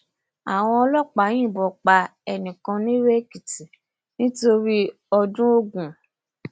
àwọn ọlọpàá yìnbọn pa ẹnì kan nirèèkìtì nítorí ọdún ogun